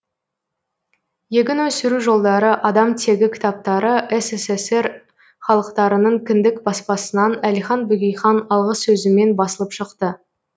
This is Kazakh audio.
егін өсіру жолдары адам тегі кітаптары ссср халықтарының кіндік баспасынан әлихан бөкейхан алғысөзімен басылып шықты